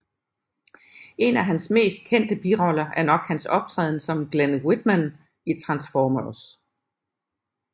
En af hans mest kendte biroller er nok hans optræden som Glen Whitmann i Transformers